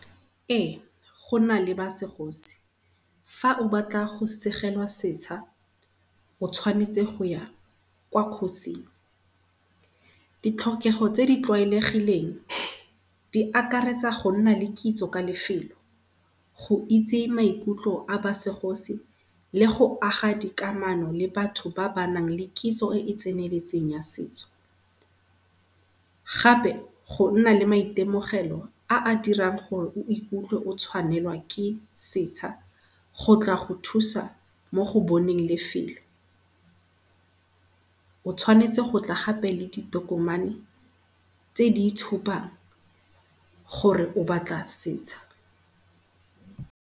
Ee gona le ba segosi. Fa o batla go segelwa setsha o tshwanetse goya kwa kgosing. Ditlhokego tse di tlwaelegileng di akaretsa go nna le kitso ka lefelo go itse maikutlo a ba segosi le go aga dikamano le batho ba ba nang lekitso e e tseneletseng ya setso. Gape gonna le maitemogelo a a dirang gore o ikutlwe o tshwanelwa ke setsha, go tla go thusa mo goboneng lefelo. O tshwanetse gape gotla ka di tokomane tse di itshupang gore o batla setsha.